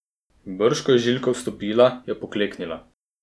Brž ko je Žiljka vstopila, je pokleknila.